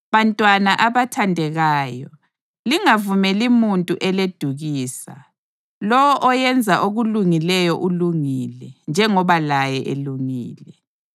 Bantwana abathandekayo, lingavumeli muntu eledukisa. Lowo oyenza okulungileyo ulungile, njengoba laye elungile.